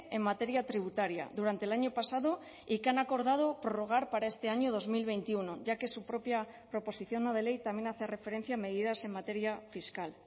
en materia tributaria durante el año pasado y que han acordado prorrogar para este año dos mil veintiuno ya que su propia proposición no de ley también hace referencia a medidas en materia fiscal